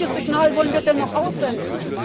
Welches Signal wollen wir denn noch aussenden?